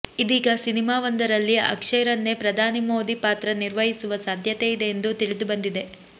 ಇದೀಗ ಸಿನಿಮಾವೊಂದರಲ್ಲಿ ಅಕ್ಷಯ್ ರನ್ನೇ ಪ್ರಧಾನಿ ಮೋದಿ ಪಾತ್ರ ನಿರ್ವಹಿಸುವ ಸಾಧ್ಯತೆಯಿದೆ ಎಂದು ತಿಳಿದುಬಂದಿದೆ